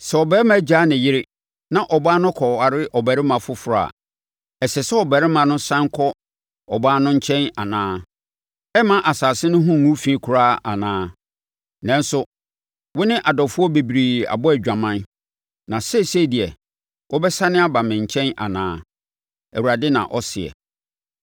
“Sɛ ɔbarima gyaa ne yere na ɔbaa no kɔware ɔbarima foforɔ a, ɛsɛ sɛ ɔbarima no sane kɔ ɔbaa no nkyɛn anaa? Ɛremma asase no ho ngu fi koraa anaa? Nanso, wo ne adɔfoɔ bebree abɔ adwaman, na seesei deɛ wobɛsane aba me nkyɛn anaa?” Awurade na ɔseɛ.